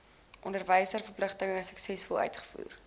onderwysverpligtinge suksesvol uitvoer